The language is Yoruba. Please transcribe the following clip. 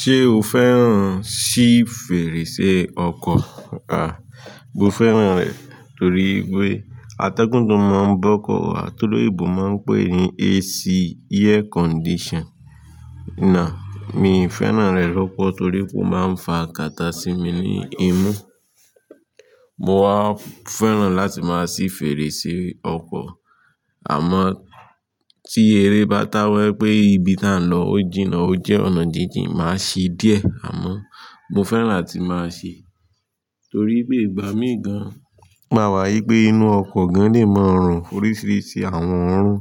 Ṣé o fẹ́ràn ṣí fèrèsé ọkọ̀? À, mo fẹ́ràn rẹ̀ torí pé atẹ́gùn tó máa ń bọ́kọ̀ wa tó lóyìnbó máa ń pè ní AC, air condition. Na, mi ì fẹ́ràn rẹ̀ lọ́pọ̀ torí pé ó máa ń fa kata sí mi ní imú. Mo wa fẹ́ràn láti máa sí fèrèsé ọkọ̀, àmọ́ tí eré bá táwẹ́ pé ibi tá ń lọ ó jìnnà ó jẹ́ ọ̀nà jínjìn, màá ṣí díẹ̀ àmọ́ mo fẹ́ràn láti máa ṣí torí pé ìgbà míì gan, màwá í pé inú ọkọ̀ gan-an lè mọrùn. Oríṣiríṣi àwọn òórùn